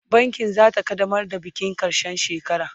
bankin zasu kaddamar da bikin karshen shekara